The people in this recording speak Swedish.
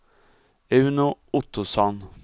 Uno Ottosson